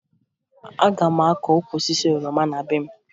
Aga m akụ ukwu osisi oroma na be m